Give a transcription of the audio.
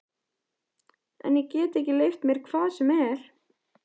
En ég get ekki leyft mér hvað sem er!